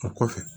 O kɔfɛ